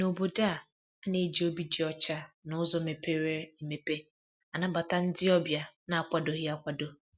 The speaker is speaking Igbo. N' Obodo a, a na-eji obi dị ọcha na uzo mepere emepe anabata ndị ọbịa na-akwadoghi akwado.